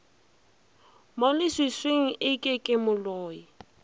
mo leswiswing eke ke moloi